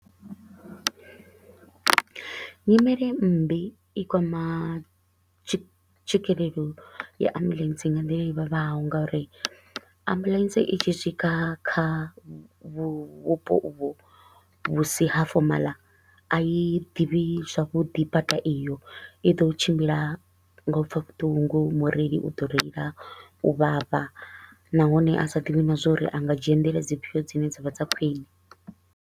Nyimele mmbi i kwama tswikelelo ya ambulance nga nḓila i vhavhaho nga uri ambulance i tshi swika kha vhupo uvho vhu si ha formal a i ḓivhi zwavhuḓi bada iyo. I ḓo tshimbila nga u pfa vhuṱungu, mureili u ḓo reila u vhavha nahone a sa ḓivhi na zwa uri a nga dzhia nḓila dzifhio dzine dza vha dza khwiṋe.